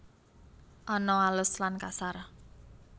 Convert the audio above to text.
Ana alus lan kasar